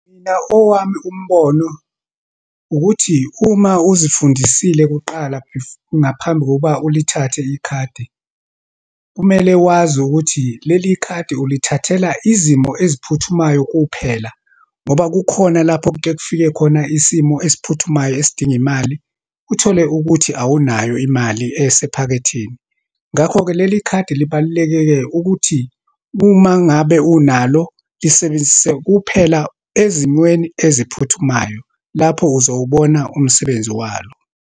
Mina, owami umbono ukuthi, uma uzifundisile kuqala ngaphambi kokuba ulithathe ikhadi, kumele wazi ukuthi leli khadi ulithathela izimo eziphuthumayo kuphela. Ngoba kukhona lapho kukekufike khona isimo esiphuthumayo esidinga imali, uthole ukuthi awunayo imali esephaketheni. Ngakho-ke, leli khadi libaluleke-ke ukuthi, uma ngabe unalo, lisebenzise kuphela ezimweni eziphuthumayo. Lapho uzowubona umsebenzi walo.